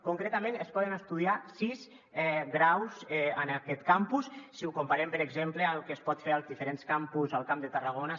concretament es poden estudiar sis graus en aquest campus si ho comparem per exemple amb el que es pot fer en els diferents campus al camp de tarragona